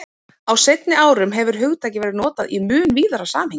Á seinni árum hefur hugtakið verið notað í mun víðara samhengi.